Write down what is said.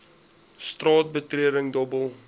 straat betreding dobbel